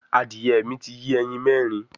Adìẹ mi ti yé ẹyin mẹrin